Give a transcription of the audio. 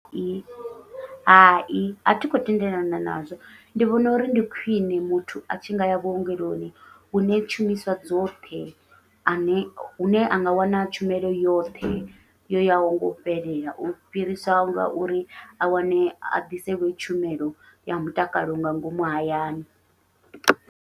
Hai athi khou tendelana nazwo ndi vhona uri ndi khwiṋe muthu atshi ngaya vhuongeloni hune tshumiswa dzoṱhe ane hune anga wana tshumelo yoṱhe yo yaho ngau fhelela, u fhirisa ngauri a wane a ḓiselwe tshumelo ya mutakalo nga ngomu hayani.